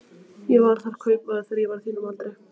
Ég var þar kaupmaður þegar ég var á þínum aldri.